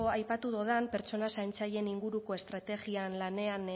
aipatu dudan pertsona zaintzaileen inguruko estrategia lanean